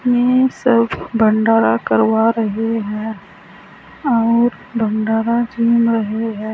सब भंडारा करवा रहे हैं और भंडारा चल रही है।